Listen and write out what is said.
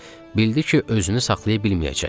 Bildi ki, özünü saxlaya bilməyəcək.